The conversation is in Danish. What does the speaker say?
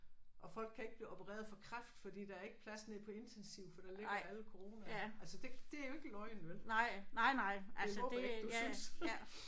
Og folk kan ikke blive opereret for kræft fordi der er ikke plads nede på intensiv for der ligger alle corona. Altså det det er jo ikke løgn vel. Det håber jeg ikke du synes